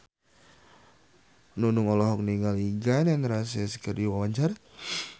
Nunung olohok ningali Gun N Roses keur diwawancara